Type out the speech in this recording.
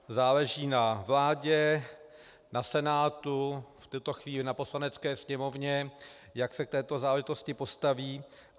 Záleží na vládě, na Senátu, v této chvíli na Poslanecké sněmovně, jak se k této záležitosti postaví.